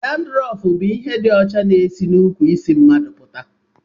Dandrọfu bụ ihe dị ọcha na-esi n'ukwu isi mmadụ apụta